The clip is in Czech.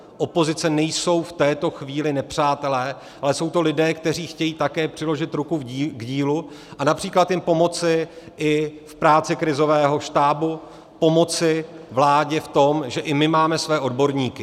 Opozice nejsou v této chvíli nepřátelé, ale jsou to lidé, kteří chtějí také přiložit ruku k dílu a například jim pomoci i v práci krizového štábu, pomoci vládě v tom, že i my máme své odborníky.